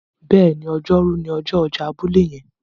béèni Ọjọ́ Rú ni ọjọ ọjà abúlé yen.